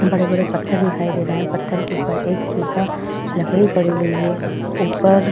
बड़े-बड़े पत्थर दिखाई दे रहे हैं। पथर के ऊपर एक सूखा लकड़ी पड़ी हुई है। ऊपर--